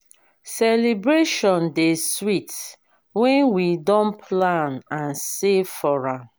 celebration dey sweet when we don plan and save for am.